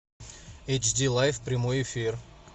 эйч ди лайф прямой эфир